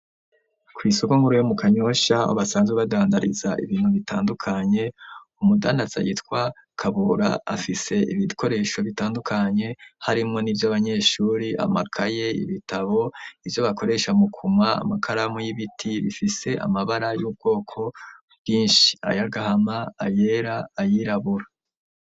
Kw'isoko nkuruyo mu kanyosha basanzwe badandariza ibintu bitandukanye umudandazayitwa kabora afise ibikoresho bitandukanye harimwo ni vyo abanyeshuri amakaye ibitabo ivyo bakoresha mukuma amakaramu y'ibiti bifise amabara y'ubwoko bwinshi ayagahama ayera ayirabura.